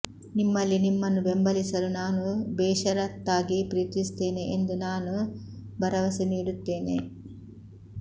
ನಿಮ್ಮಲ್ಲಿ ನಿಮ್ಮನ್ನು ಬೆಂಬಲಿಸಲು ನಾನು ಬೇಷರತ್ತಾಗಿ ಪ್ರೀತಿಸುತ್ತೇನೆ ಎಂದು ನಾನು ಭರವಸೆ ನೀಡುತ್ತೇನೆ